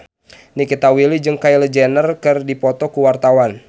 Nikita Willy jeung Kylie Jenner keur dipoto ku wartawan